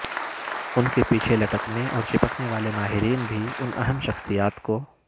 ان کے پیچھے لٹکنے اور چپکنےوالے ماہرین بھی ان اہم شخصیات کو